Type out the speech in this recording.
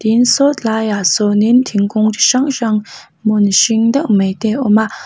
tin saw tlai ah sawnin thingkung chi hrang hrang hmun hring deuh mai te awma.